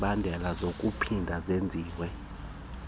zemibandela zinokuphinda zenziwe